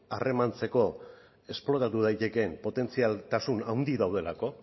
harremantzeko esplotatu daitekeen potentzialtasun handi daudelako